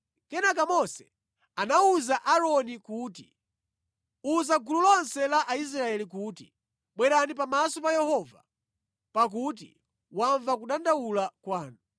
Kenaka Mose anawuza Aaroni kuti, “Uza gulu lonse la Aisraeli kuti, ‘Bwerani pamaso pa Yehova pakuti wamva kudandaula kwanu.’ ”